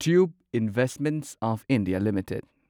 tube investments of India limited